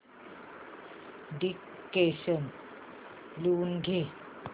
dictation लिहून घे